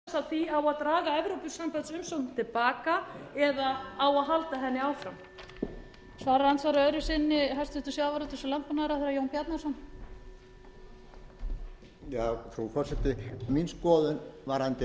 frú forseti mín skoðun varðandi evrópusambandið er óbreytt og ef eitthvað er þá er ég sterkari á meiri skoðun minni